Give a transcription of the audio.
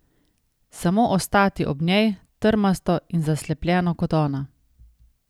Samo ostati ob njej, trmasto in zaslepljeno kot ona.